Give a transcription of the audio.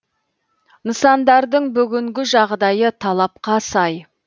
нысандардың бүгінгі жағдайы талапқа сай